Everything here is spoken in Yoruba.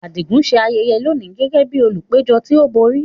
Adigun ń ṣe ayẹyẹ lónìí gẹ́gẹ́ bí olùpẹ̀jọ́ tí ó borí.